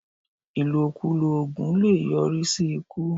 Ìlokulò oògùn le è yọ rí sí ikú